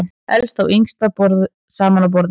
Elsta og yngsti saman á borði